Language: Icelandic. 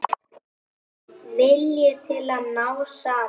Vilji til að ná saman.